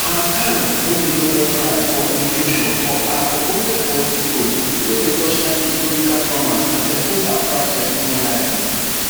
han kang win di nobel prize for literature for her ogbonge poetic prose wey dey torchlight historical traumas and expose how fragile human life be